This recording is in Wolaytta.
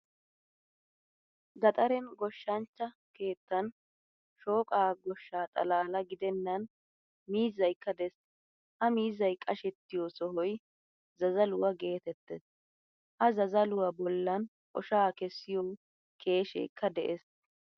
Gaxaren goshshanchcha keettan shoqqa goshshaa xalala gidenan miizzaykka de'ees. Ha miizzay qashshettiyo sohoy zazzaluwaa geetettees. Ha zazzaluwaa bollan oshaa kesiyo keeshekka de'ees.